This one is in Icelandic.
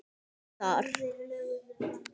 Ekki þar.